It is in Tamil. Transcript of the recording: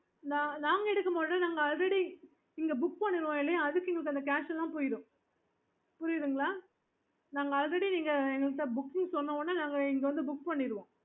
நாங்க எடுக்க மாட்டோம் நாங்க already இங்க book பண்ணனனும்ன் இல்லையா அதுக்கு இந்த cash எல்லாம் போயிடும் புரியுதுங்களா நாங்க already நீங்க எங்ககிட்ட booking சொன்ன ஒடனே நாங்க இங்க வந்து book பண்ணிடுவோம்